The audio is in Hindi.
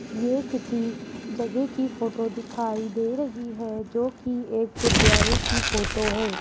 ये किसी जगह की फोटो दिखाई दे रही है जोकि एक गुरुद्वारे की फोटो है।